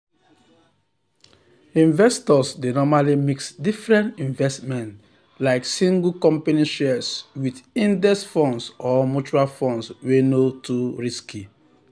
investors dey normally mix different investments like single company shares with index funds or mutual funds wey no too risky.